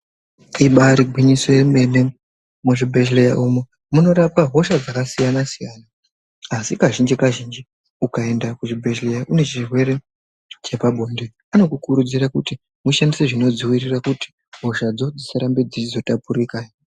Ibari gwinyiso yomene. Muzvibhedhleya umu munorapwa hosha dzakasiyana -siyana. Asi kazhinji kazhinji, ukaenda kuzvibhedhleya une chirwere chepabonde, anokukurudzira kuti ushandise zvinodzivirira kuitira kuti hoshadzo dzisarambe dzichitapuriranwa.